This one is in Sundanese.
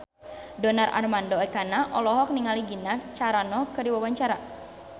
Donar Armando Ekana olohok ningali Gina Carano keur diwawancara